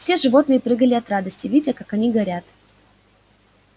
все животные прыгали от радости видя как они горят